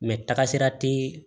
tagasira te